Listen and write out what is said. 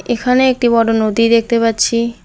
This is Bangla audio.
এখানে একটি বড় নদী দেখতে পাচ্ছি।